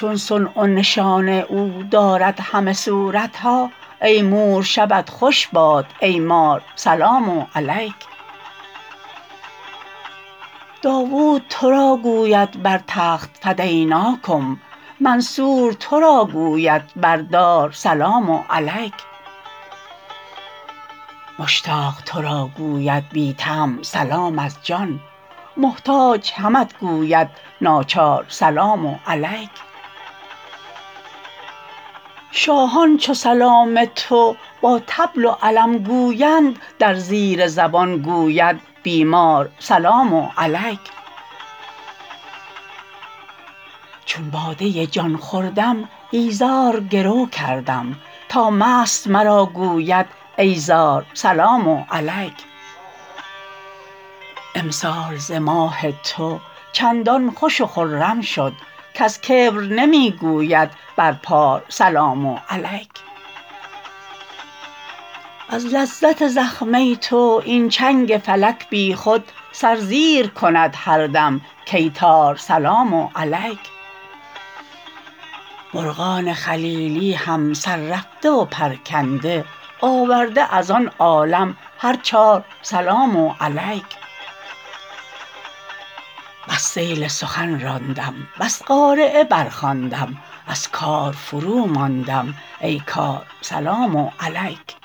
چون صنع و نشان او دارد همه صورت ها ای مور شبت خوش باد ای مار سلام علیک داوود تو را گوید بر تخت فدیناکم منصور تو را گوید بر دار سلام علیک مشتاق تو را گوید بی طمع سلام از جان محتاج همت گوید ناچار سلام علیک شاهان چو سلام تو با طبل و علم گویند در زیر زبان گوید بیمار سلام علیک چون باده جان خوردم ایزار گرو کردم تا مست مرا گوید ای زار سلام علیک امسال ز ماه تو چندان خوش و خرم شد کز کبر نمی گوید بر پار سلام علیک از لذت زخمه تو این چنگ فلک بیخود سر زیر کند هر دم کای تار سلام علیک مرغان خلیلی هم سررفته و پرکنده آورده از آن عالم هر چار سلام علیک بس سیل سخن راندم بس قارعه برخواندم از کار فروماندم ای کار سلام علیک